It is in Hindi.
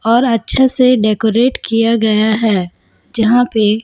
और अच्छा से डेकोरेट किया गया हैं जहाँ पे--